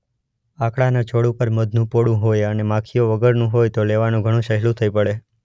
આકડાના છોડ ઉપર મધનું પોડું હોય અને માખીઓ વગરનું હોય તો લેવાનું ઘણું સહેલું થઇ પડે.